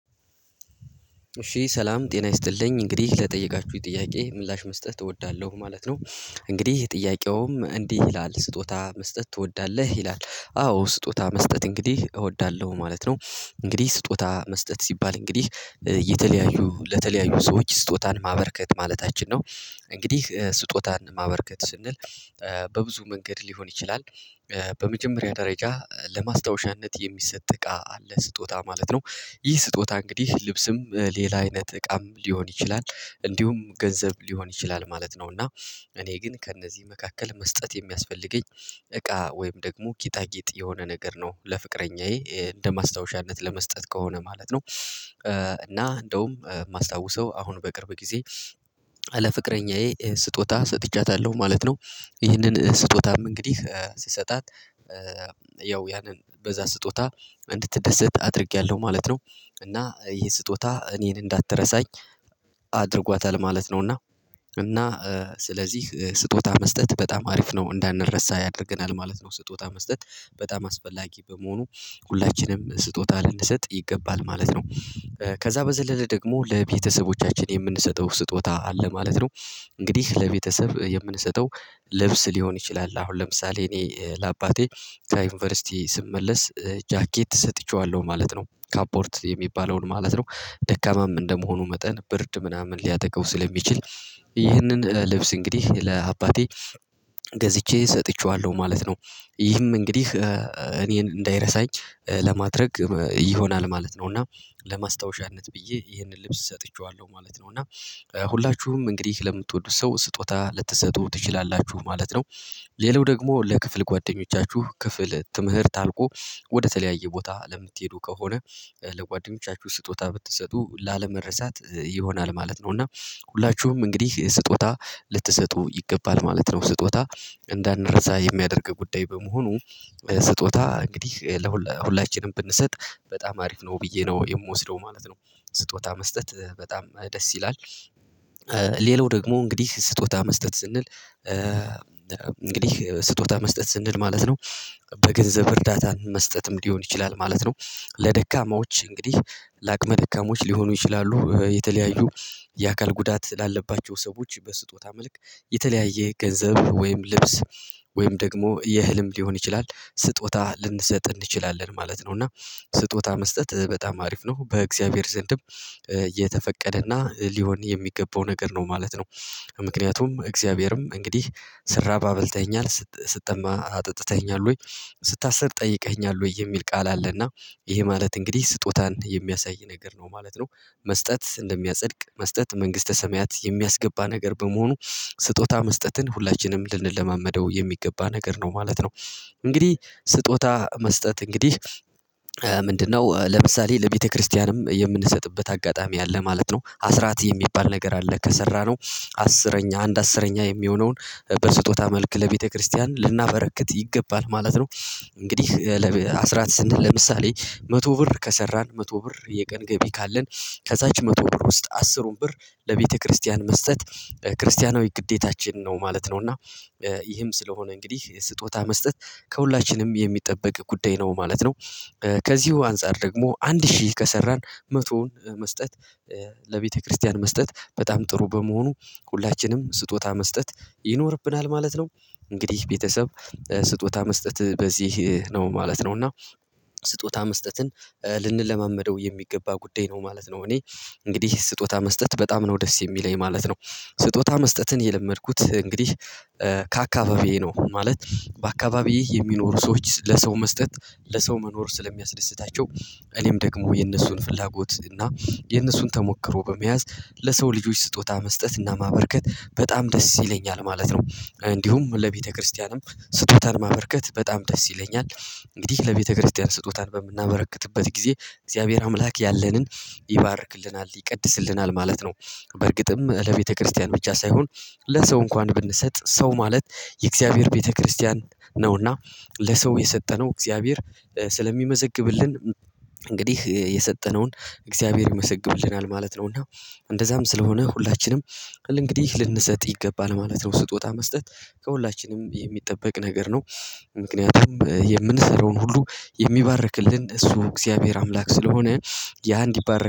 እሺ ሰላም ጤና ይስጥልኝ እንግዲህ ለጠየቃችሁኝ ጥያቄ ምላሽ መስጠት እወዳለሁ ማለት ነው። እንግዲህ ጥያቄውም እንዲህ ይላል ስጦታ መስጠት ትወዳለህ ይላል? አዎ ስጦታ መስጠት እንግዲህ እወዳለሁ ማለት ነው። እንግዲህ ስጦታ መስጠት ሲባል እንግዲህ የተለያዩ ለተለያዩ ሰዎች ስጦታን ማበርከት ማለታችን ነው። እንግዲህ ስጦታን ማበርከት ስንል። በብዙ መንገድ ሊሆን ይችላል። በመጀመሪያው ደረጃ ለማስታወሻነት የሚሰጥ እቃ አለ ስጦታ ማለት ነው። ይህ ስጦታ እንግዲህ ልብስም ሌላ አይነት እቃም ሊሆን ይችላል። እንዲሁም ገንዘብ ሊሆን ይችላል ማለት ነው። እና እኔ ግን ከእነዚህ መካከል መስጠት የሚያስፈልገኝ እቃ ወይም ደግሞ ጌጣጌጥ የሆነ ነገር ነው ለፍቅረኛዬ እንደ ማስታወሻነት ለመስጠት ከሆነ ማለት ነው። እና እንደውም የማስታውሰው አሁን በቅርብ ጊዜ ለፍቅረኛዬ ስጦታ ሰጥቻታለሁ ማለት ነው። ይህንን ስጦታም እንግዲህ ስሰጣት ያው ያንን በዛ ስጦታ እንድትደሰት አድርጌያለሁ ማለት ነው። እና ይሄ ስጦታ እኔን እንዳትረሳኝ አድርጓታል ማለት ነውና። እና ስለዚህ ስጦታ መስጠት በጣም አሪፍ ነው እንዳንረሳ ያደርገናል ማለት ነው። ስጦታ መስጠት በጣም አስፈላጊ በመሆኑ ሁላችንም ስጦታ ልንሰጥ ይገባል ማለት ነው። ከዛ በዘለለ ደግሞ ለቤተሰቦቻችን የምንሰጠው ስጦታ አለ ማለት ነው። እንግዲህ ለቤተሰብ የምንሰጠው ልብስ ሊሆን ይችላል አሁን ለምሳሌ እኔ ለአባቴ ከዩኒቨርሲቲ ስመለስ ጃኬት ሰጥቼዋለሁ ማለት ነው። ካፖርት የሚባለውን ማለት ነው። ደካማም እንደመሆኑ መጠን ብርድ ምናምን ሊያጠቃው ስለሚችል ይህንን ልብስ እንግዲህ ለአባቴ ገዝቼ ሰጥቼዋለሁ ማለት ነው። ይህም እንግዲህ እኔን እንዳይረሳኝ ለማድረግ ይሆናል ማለት ነው። እና ለማስታወሻነት ብዬ ይሄንን ልብስ ሰጥቼዋለሁ ማለት ነው። እና ሁላችሁም እንግዲህ ለምትወዱ ሰው ስጦታ ልትሰጡ ትችላላችሁ ማለት ነው። ሌላው ደግሞ ለክፍል ጓደኞቻችሁ ክፍል ትምህርት አልቆ ወደተለያየ ቦታ ለምትሄዱ ከሆነ ለጓደኞቻችሁ ስጦታ ብትሰጡ ላለመረሳት ይሆናል ማለት ነው። እና ሁላችሁም እንግዲህ ስጦታ ልትሰጡ ይገባል ማለት ነው። ስጦታ እንዳንረሳ የሚያደርግ ጉዳይ በመሆኑ ስጦታ እንግዲህ ለሁላችንም ብንሰጥ በጣም አሪፍ ነው ብዬ ነው የምወስደው ማለት ነው። ስጦታ መስጠት በጣም ደስ ይላል። ሌላው ደግሞ እንግዲህ ስጦታ መስጠት ስንል እንግዲህ ስጦታ መስጠት ስንል ማለት ነው። በገንዘብ እርዳታን መስጠትም ሊሆን ይችላል ማለት ነው። ለደካማዎች እንግዲህ ለአቅመ ደካማዎች ሊሆኑ ይችላሉ የተለያዩ የአካል ጉዳት ላለባቸው ሰዎች በስጦታ መልክ የተለያየ ገንዘብ ወይም ልብስ ወይም ደግሞ የእህልም ሊሆን ይችላል ስጦታ ልንሰጥ እንችላለን ማለት ነው። እና ስጦታ መስጠት በጣም አሪፍ ነው በእግዚአብሔር ዘንድም የተፈቀደና ሊሆን የሚገባው ነገር ነው ማለት ነው። ምክንያቱም እግዚአብሔርም እንግዲህ ስራብ አብልተኸኛል ስጠማ አጠጥተኸኛል ወይ ስታስር ጠይቀኸኛል ወይ የሚል ቃል አለና። ይሄ ማለት እንግዲህ ስጦታን የሚያሳይ ነገር ነው ማለት ነው። መስጠት እንደሚያጸድቅ መስጠት መንግስተ ሰማያት የሚያስገባ ነገር በመሆኑ ስጦታ መስጠትን ሁላችንም ልንለማመደው የሚገባ ነገር ነው ማለት ነው። እንግዲህ ስጦታ መስጠት እንግዲህ ምንድነው ለምሳሌ ለቤተክርስቲያንም የምንሰጥበት አጋጣሚ አለ ማለት ነው። አስራት የሚባል ነገር አለ ከሰራነው አስረኛ አንድ አስረኛ የሚሆነውን በስጦታ መልክ ለቤተክርስቲያን ልናበረክት ይገባል ማለት ነው። እንግዲህ አስራት ስንት? ለምሳሌ መቶ ብር ከሰራን መቶ ብር የቀን ገቢ ካለን ከዛች መቶ ብር ውስጥ አስሩን ብር ለቤተክርስቲያን መስጠት ክርስቲያናዊ ግዴታችን ነው ማለት ነው። እና ይህም ስለሆነ እንግዲህ ስጦታ መስጠት ከሁላችንም የሚጠበቅ ጉዳይ ነው ማለት ነው። ከዚሁ አንፃር ደግሞ አንድ ሺህ ከሰራን መቶውን መስጠት ለቤተክርስቲያን መስጠት በጣም ጥሩ በመሆኑ ሁላችንም ስጦታ መስጠት ይኖርብናል ማለት ነው። እንግዲህ ቤተሰብ ስጦታ መስጠት በዚህ ነው ማለት ነው። እና ስጦታ መስጠትን ልንለማመደው የሚገባ ጉዳይ ነው ማለት ነው። እኔ እንግዲህ ስጦታ መስጠት በጣም ነው ደስ የሚለኝ ማለት ነው። ስጦታ መስጠትን የለመድኩት እንግዲህ ነው ማለት በአካባቢዬ የሚኖሩ ሰዎች ለሰው መስጠት ለሰው መኖር ስለሚያስደስታቸው። እኔም ደግሞ የነሱን ፍላጎት እና የነሱን ተሞክሮ በመያዝ ለሰው ልጆች ስጦታ መስጠት እና ማበርከት በጣም ደስ ይለኛል ማለት ነው። እንዲሁም ለቤተክርስቲያንም ስጦታን ማበርከት በጣም ደስ ይለኛል። እንግዲህ ለቤተክርስቲያን ስጦታን በምናበረክትበት ጊዜ እግዚአብሔር አምላክ ያለንን ይባርክልናል ይቀድስልናል ማለት ነው። በርግጥም ለቤተክርስቲያን ብቻ ሳይሆን ለሰው እንኳን ብንሰጥ ሰው ማለት የእግዚአብሔር ቤተክርስቲያን ነውና ለሰው የሰጠነው እግዚአብሔር ስለሚመዘግብልን የሰጠነውን እግዚአብሔር ይመዘግብልናል ማለት ነው። እና እንደዛም ስለሆነ ሁላችንም እንግዲህ ልንሰጥ ይገባል ማለት ነው። ስጦታ መስጠት ከሁላችንም የሚጠበቅ ነገር ነው። ምክንያቱም የምንሰራውን ሁሉ የሚባርክልን እሱ እግዚአብሔር አምላክ ስለሆነ ያ እንዲባረክ